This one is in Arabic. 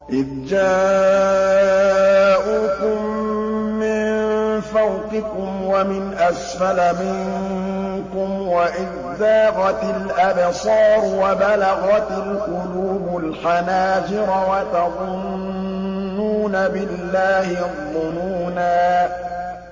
إِذْ جَاءُوكُم مِّن فَوْقِكُمْ وَمِنْ أَسْفَلَ مِنكُمْ وَإِذْ زَاغَتِ الْأَبْصَارُ وَبَلَغَتِ الْقُلُوبُ الْحَنَاجِرَ وَتَظُنُّونَ بِاللَّهِ الظُّنُونَا